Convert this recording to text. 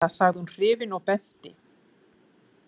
Kisa sagði hún hrifin og benti.